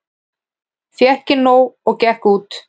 Fékk nóg og gekk út